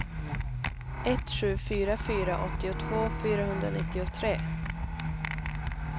ett sju fyra fyra åttiotvå fyrahundranittiotre